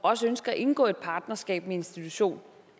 også ønsker at indgå et partnerskab med en institution